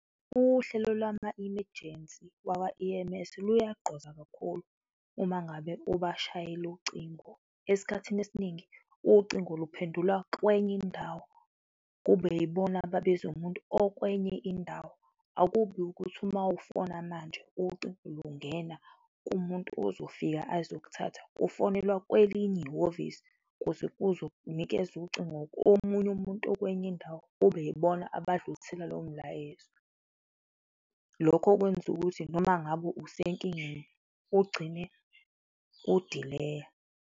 Uhlelo lwama imejensi lwakwa E_M_S luyagqoza kakhulu uma ngabe ubashayela ucingo. Esikhathini esiningi ucingo luphendulwa kwenye indawo, kube yibona ababiza umuntu okwenye indawo. Akubi ukuthi mawufona manje, ucingo lungena kumuntu ozofika azokuthatha, ufonelwa kwelinye ihhovisi ukuze kuzo nikezwa ucingo kwomunye umuntu okwenye indawo, kube ibona abadlulisela lowo mlayezo, lokho kwenza ukuthi noma ngabe usenkingeni, ugcine kudileya.